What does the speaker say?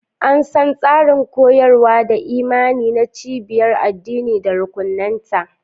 An san tsarin koyarwa da imani na cibiyar addini da rukunanta.